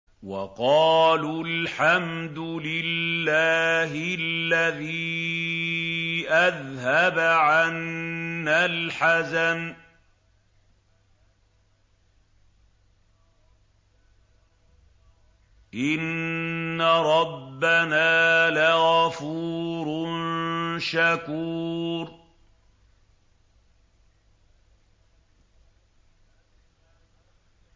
وَقَالُوا الْحَمْدُ لِلَّهِ الَّذِي أَذْهَبَ عَنَّا الْحَزَنَ ۖ إِنَّ رَبَّنَا لَغَفُورٌ شَكُورٌ